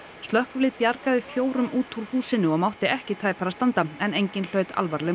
slökkvilið bjargaði fjórum úr húsinu og mátti ekki tæpara standa en enginn hlaut alvarleg